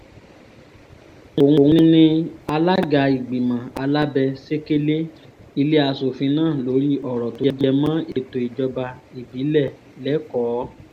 òun ni alága ìgbìmọ̀ alábẹ́-sẹ̀kẹ̀lé ilé asòfin náà lórí ọ̀rọ̀ tó jẹ mọ́ ètò ìjọba ìbílẹ̀ lẹ́kọ̀ọ́